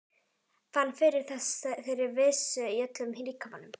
Fann fyrir þeirri vissu í öllum líkamanum.